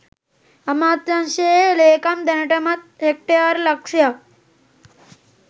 අමාත්‍යංශයේ ‍ලේකම් දැනටමත් හෙක්ටයාරලක්ෂයක්